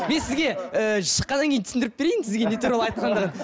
мен сізге ііі шыққаннан кейін түсіндіріп берейін сізге не туралы айтқандарын